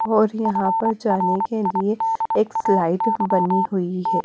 और यहां पर जाने के लिए एक स्लाइड बनी हुई है।